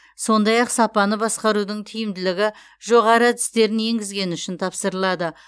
сондай ақ сапаны басқарудың тиімділігі жоғары әдістерін енгізгені үшін тапсырылады